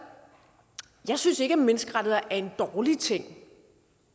jeg synes ikke at menneskerettigheder er en dårlig ting